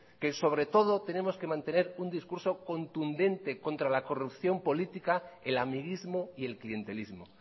que sobre todo tenemos que mantener un discurso contundente contra la corrupción política el amiguismo y el clientelismo